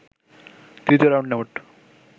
তৃতীয় রাউন্ডে মোট